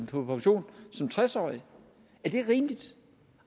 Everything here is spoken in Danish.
på pension som tres årig er det rimeligt